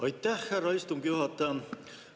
Aitäh, härra istungi juhataja!